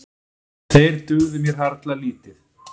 Þeir dugðu mér harla lítið.